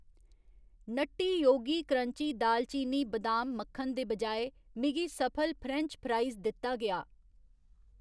Nutty Yogi crunchy दालचीनी बदाम मक्खन दे बजाए, मिगी सफल फ्रेंच फ्राइस दित्ता गेआ।